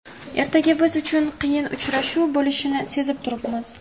Ertaga biz uchun qiyin uchrashuv bo‘lishini sezib turibmiz.